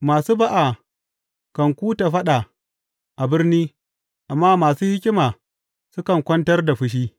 Masu ba’a kan kuta faɗa a birni, amma masu hikima sukan kwantar da fushi.